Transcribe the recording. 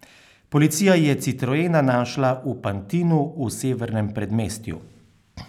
Policija je citroena našla v Pantinu v severnem predmestju.